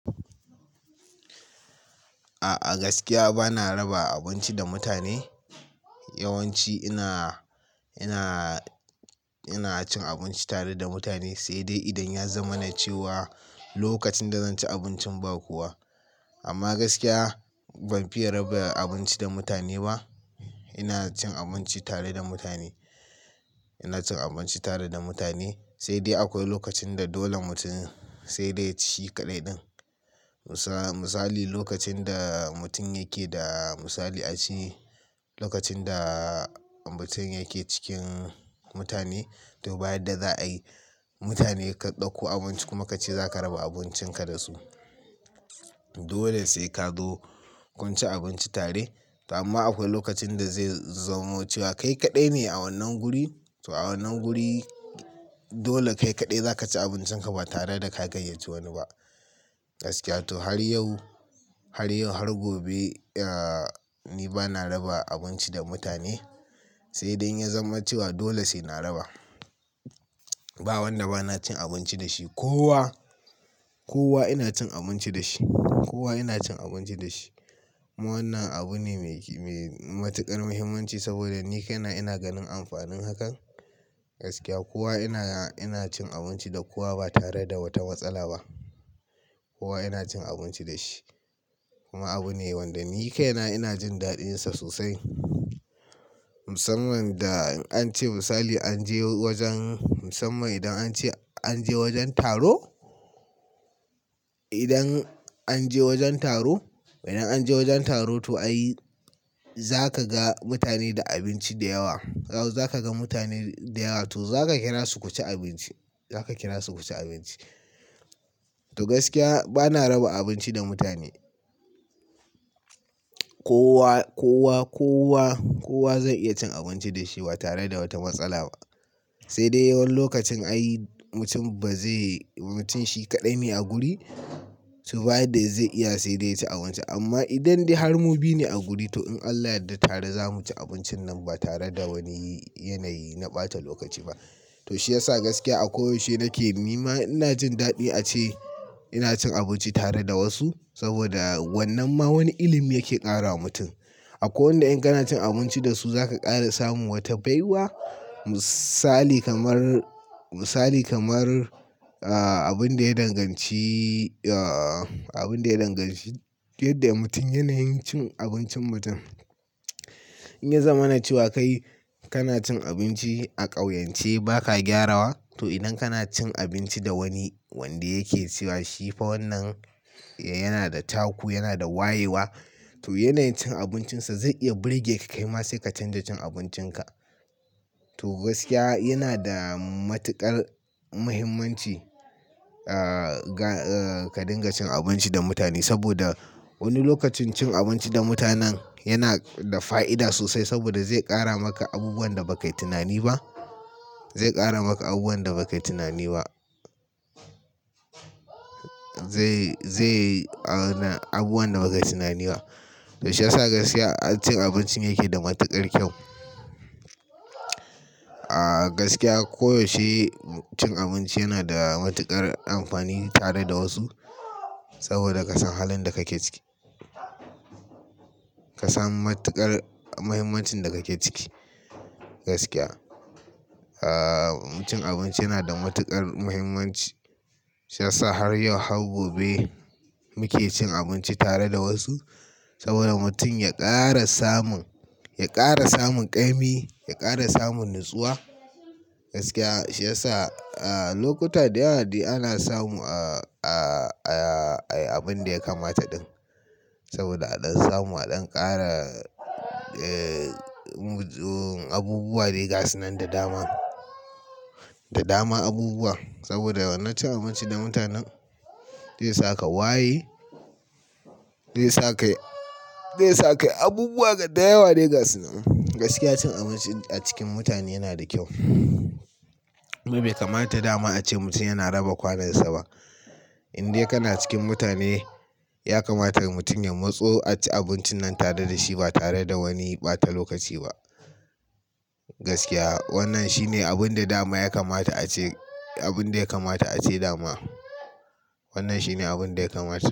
A'a gaskiya bana raba abinci da mutane. Yawanci ina, ina, ina cin abinci tare da mutane, sai dai idan ya zama na cewa lokacin da zan ci abincin ba kowa. Amma gaskiya ban fiya raba abinci da mutane ba. Ina cin abinci tare da mutane. Ina cin abinci tare da mutane, sai dai akwai lokacin da dole mutum sai dai ci kaɗai ɗin. Misali lokacin da mutum yake da misali a ce lokacin da mutum yake cikin mutane to bayan da za a yi mutane karɓa ko abinci kuma ka ce za ka raba abincin ka da su. Dole sai ka zo kun ci abinci tare. Amma akwai lokacin da zai zamo cewa kai kaɗai ne a wannan guri, to a wannan guri dole kai kaɗai za ka ci abincin ka ba tare da ka gayyace wani ba. Gaskiya to har yau, har yau har gobe, eh ni bana raba abinci da mutane. Sai dai in ya zama cewa dole sai na raba. Ba wanda bana cin abinci da shi, kowa, kowa ina cin abinci da shi. Kowa ina cin abinci da shi. Wannan abu ne mai matuƙar muhimmanci saboda ni kaina ina ganin amfanin hakan. Gaskiya kowa ina, ina cin abinci da kowa ba tare da wata matsala ba. Kowa ina cin abinci da shi. Kuma abu ne wanda ni kaina ina jin daɗinsa sosai. Musamman da in an ce misali an je wajen musamman idan an ce an je wajen taro. Idan an je wajen taro, idan an je wajen taro to ai za ka ga mutane da abinci da yawa. Yau za ka ga mutane da yawa to za ka kira su ku ci abinci. Za ka kira su ku ci abinci. To gaskiya bana raba abinci da mutane. Kowa, kowa, kowa, kowa zai iya cin abinci da shi ba tare da wata matsala ba. Sai dai yawan lokacin ai mutum ba zai, mutum shi kaɗai ne a guri to baya da zai iya sai dai ya ci abinci. Amma idan dai har mu biyu ne a guri, to in Allah ya yarda tare za mu ci abincin nan ba tare da wani yanayi na ɓata lokaci ba. To shi ya sa gaskiya a koyaushe nake nema ina jin daɗi ace ina cin abinci tare da wasu. Saboda wannan ma wani ilimi yake ƙara wa mutum. Akwai wanda in kana cin abinci da su za ka ƙara samun wata baiwa. Misali kamar, misali kamar, abin da ya danganci, ah abin da ya danganci yadda mutum yanayin cin abincin mutum. In ya zama na cewa kai kana cin abinci a ƙauyance ba ka gyarawa, to idan kana cin abinci da wani wanda yake cewa shi fa wannan yana da taku, yana da wayewa to yanayin cin abincinsa zai iya ɓulge ka kai ma sai ka canza cin abincin ka. To gaskiya yana da matuƙar muhimmanci, ah ka dinga cin abinci da mutane saboda wani lokacin cin abinci da mutanen yana da fa'ida sosai saboda zai ƙara maka abubuwan da ba ka yi tunani ba. Zai ƙara maka abubuwan da ba ka yi tunani ba. Zai, zai, abubuwan da ba ka yi tunani ba. To shi ya sa gaskiya cin abincin yake da matuƙar kyau. Ah gaskiya koyaushe cin abinci yana da matuƙar amfani tare da wasu saboda ka san halin da kake ciki. Ka san matuƙar muhimmancin da kake ciki. Gaskiya. Ah cin abinci yana da matuƙar muhimmanci. Shi ya sa har yau har gobe muke cin abinci tare da wasu. Saboda mutum ya ƙara samun, ya ƙara samun ƙa'imi, ya ƙara samun natsuwa. Gaskiya shi ya sa a lokuta da yawa dai ana samu abin da ya kamata ɗin. Saboda a don samu a don ƙara abubuwa da yasa nan da dama. Da dama abubuwa. Saboda wannan cin abinci da mutanen zai saka waye, zai saka yi, zai saka yi abubuwa da yawa dai ga su nan. Gaskiya cin abinci a cikin mutane yana da kyau. Kuma bai kamata dama a ce mutum yana raba kwanansa ba. In dai kana cikin mutane, ya kamata mutum ya matso a ci abincin nan tare da shi ba tare da wani ɓata lokaci ba. Gaskiya wannan shi ne abin da dama ya kamata a ce, abin da ya kamata a ce dama. Wannan shi ne abin da ya kamata.